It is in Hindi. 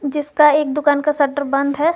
जिसका एक दुकान का शटर बंद है।